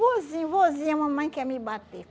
Vozinho, vozinho, mamãe quer me bater.